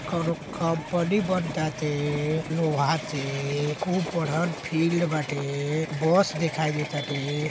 कोनो कंपनी बन ताते लोहा से खूब बड़हन फील्ड बाटे। बस दिखाई दे ताटे।